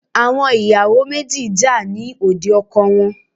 Àwọn ìyàwò méjì jà ní òde ọkọ wọn.